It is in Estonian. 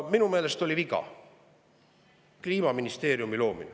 Minu meelest oli viga luua Kliimaministeerium.